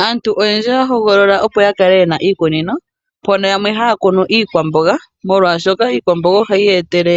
Aantj oyendji oya hogolola opo ya kale yena iiliwa mpono oyendji ya kala yena iikunino molwa shoka iikwamboga ohayi yetele